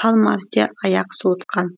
сан мәрте аяқ суытқан